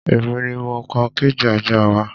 Èmi ni mo kan kéèjì ajá wa